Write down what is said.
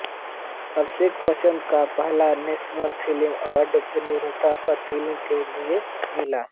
अभिषेक बच्चन को पहला national film award बतौर निर्माता पा फ़िल्म के लिए मिला